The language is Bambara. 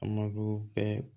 A mago bɛɛ